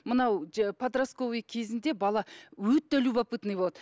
мынау подросковый кезінде бала өте любопытный болады